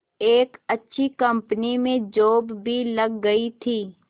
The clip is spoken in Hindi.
एक अच्छी कंपनी में जॉब भी लग गई थी